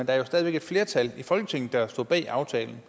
er jo stadig væk et flertal i folketinget der står bag aftalen